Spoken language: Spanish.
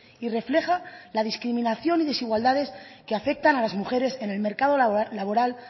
y refleja la discriminación y desigualdades que afectan a las mujeres en el mercado laboral